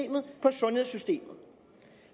sundhedssystemet